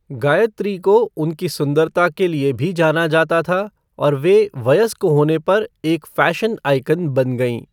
गायत्री को उनकी सुंदरता के लिए भी जाना जाता था और वे वयस्क होने पर एक फ़ैशन आइकन बन गईं।